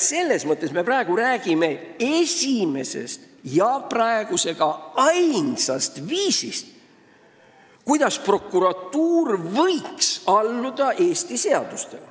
Selles mõttes me räägime praegu esimesest ja ainsast viisist, kuidas prokuratuur võiks alluda Eesti seadustele.